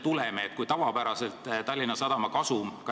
Tallinna Sadama kasum on tavapäraselt väiksem.